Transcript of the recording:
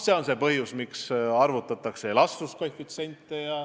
See ongi põhjus, miks arvutatakse ka elastsuskoefitsiente.